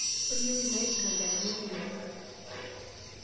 tolikioki inaipirta jaramogi odinga